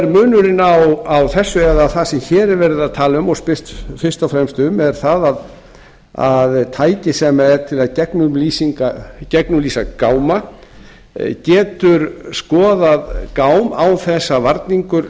munurinn á þess eða það sem hér er verið að tala um og spurt fyrst og fremst um er það að tæki sem er til að gegnumlýsa gáma getur skoðað gám án þess að varningur